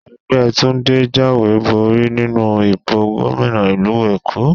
Ẹgbẹ́ Túndé jáwé borí nínú ìbò gómìnà ìlú Èkó.